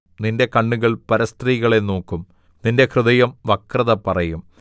നിന്റെ കണ്ണുകൾ പരസ്ത്രീകളെ നോക്കും നിന്റെ ഹൃദയം വക്രത പറയും